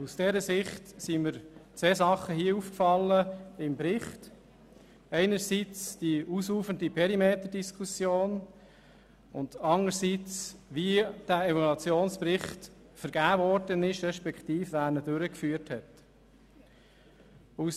Aus dieser Sicht sind mir zwei Dinge im Bericht aufgefallen, einerseits die ausufernde Perimeterdiskussion, andererseits wie der Evaluationsbericht vergeben wurde respektive wer die Evaluation durchgeführt hat.